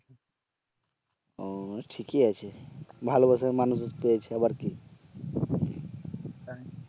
ও ঠিকই আছে ভালোবাসার মানুষ পেয়েছে আবার কি